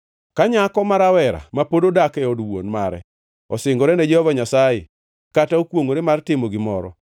“Ka nyako ma rawera ma pod odak e od wuon mare osingore ne Jehova Nyasaye kata okwongʼore mar timo gimoro